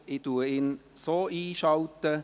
Ich schalte ihn so ein.